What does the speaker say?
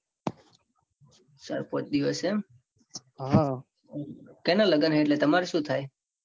ચાર પોંચ દિવસ એમ કેના લગન હે. એમ તો તમાર સુ થાય.